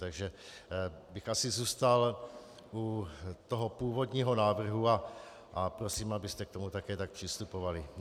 Takže bych asi zůstal u toho původního návrhu a prosím, abyste k tomu také tak přistupovali.